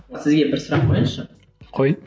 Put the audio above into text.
сізге бір сұрақ қояйыншы қой